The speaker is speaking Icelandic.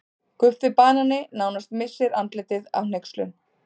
Guffi banani nánast missir andlitið af hneykslun.